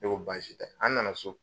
E ko baasi tɛ an nana so